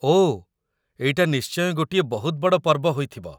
ଓଃ, ଏଇଟା ନିଶ୍ଚୟ ଗୋଟିଏ ବହୁତ ବଡ଼ ପର୍ବ ହୋଇଥିବ ।